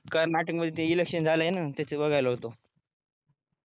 काल नाशिक मध्ये ते इलेकशन झालं आहे ना त्याच बघायला होतो